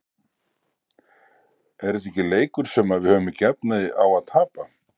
Er þetta leikur sem að við höfum ekki efni á að tapa?